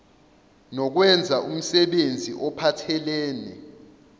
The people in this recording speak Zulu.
nokwenza umsebenzi ophathelene